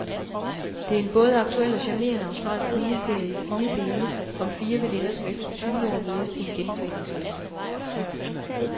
Det er en både aktuel og charmerende australsk miniserie i fire dele om fire veninder, som efter tyve år mødes til en genforeningsfest.